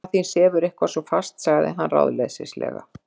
Mamma þín sefur eitthvað svo fast- sagði hann ráðleysislega.